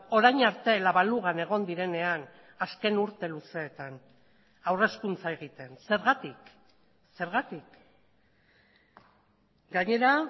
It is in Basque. orain arte la balugan egon direnean azken urte luzeetan haur hezkuntza egiten zergatik zergatik gainera